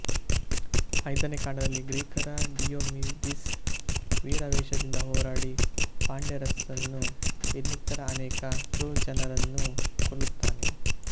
ಐದನೆ ಕಾಂಡದಲ್ಲಿ ಗ್ರೀಕರ ಡಿಯೋಮಿಡಿಸ್ ವೀರಾವೇಶದಿಂದ ಹೋರಾಡಿ ಪ್ಯಾಂಡರಸನ್ನೂ ಇನ್ನಿತರ ಅನೇಕ ಟ್ರೋಜನರನ್ನೂ ಕೊಲ್ಲುತ್ತಾನೆ